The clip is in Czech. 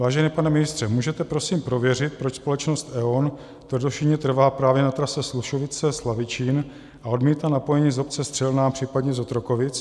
Vážený pane ministře, můžete prosím prověřit, proč společnost E.ON tvrdošíjně trvá právě na trase Slušovice - Slavičín a odmítá napojení z obce Střelná, případně z Otrokovic?